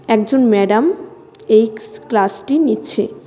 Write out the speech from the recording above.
একজন ম্যাডাম এইক্স ক্লাস -টি নিচ্ছে।